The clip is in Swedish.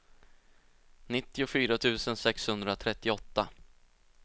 nittiofyra tusen sexhundratrettioåtta